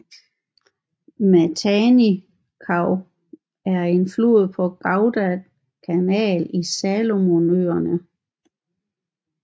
Matanikau er en flod på Guadalcanal i Salomonøerne